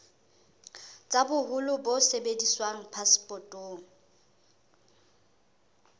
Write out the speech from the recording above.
tsa boholo bo sebediswang phasepotong